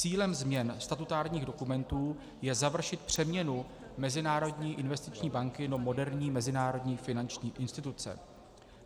Cílem změn statutárních dokumentů je završit přeměnu Mezinárodní investiční banky do moderní mezinárodní finanční instituce.